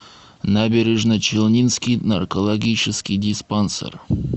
набережночелнинский наркологический диспансер